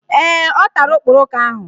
Ee, ọ tara okporoko ahụ